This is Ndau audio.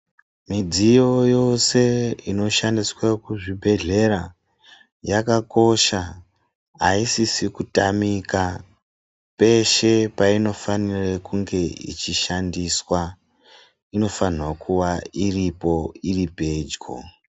Midziyo yose inoshandiswe kuzvibhedhlera yakakosha aisisi kutamika peshe peinofanire kunge ichishandiswa inofanira kuwa iripo iri pedyo.